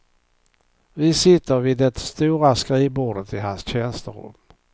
Vi sitter vid det stora skrivbordet i hans tjänsterum.